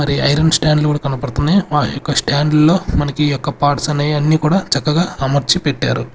మరి iron stand లు కూడా కనబడుతున్నాయి మ యొక్క స్టాండ్ లో మనకు ఈ యొక్క పార్ట్స్ అనేయి అన్ని కూడా చక్కగా అమర్చి పెట్టారు.